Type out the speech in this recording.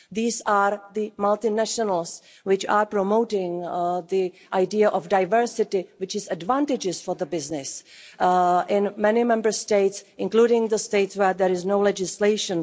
These are the multinationals which are promoting the idea of diversity, which is advantageous for business in many Member States, including the states where there is no legislation.